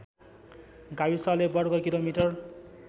गाविसले वर्ग किलोमिटर